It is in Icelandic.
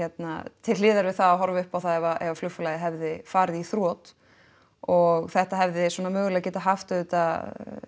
til hliðar við það að horfa upp á það ef flugfélagið hefði farið í þrot og þetta hefði svona mögulega getað haft auðvitað